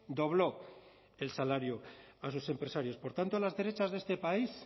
dobló el salario a sus empresarios por tanto a las derechas de este país